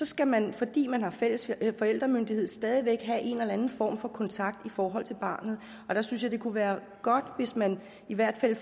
skal man fordi man har fælles forældremyndighed så stadig væk have en eller anden form for kontakt i forhold til barnet der synes jeg det kunne være godt hvis man i hvert fald